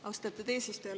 Austatud eesistuja!